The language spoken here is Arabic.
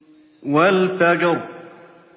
وَالْفَجْرِ